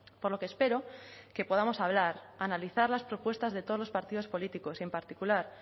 por lo que espero que podamos hablar analizar las propuestas de todos los partidos políticos y en particular